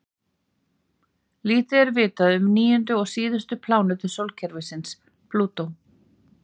Lítið er vitað um níundu og síðustu plánetu sólkerfisins, Plútó.